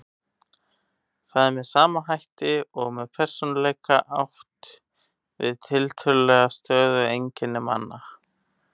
Þar er með sama hætti og með persónuleika átt við tiltölulega stöðug einkenni manna.